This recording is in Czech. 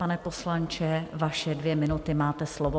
Pane poslanče, vaše dvě minuty, máte slovo.